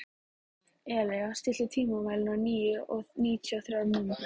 Elea, stilltu tímamælinn á níutíu og þrjár mínútur.